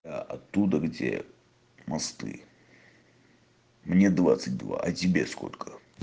а оттуда где мосты мне двадцать два а тебе сколько